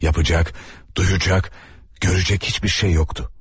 Yapacaq, duyacaq, görəcək heç bir şey yox idi.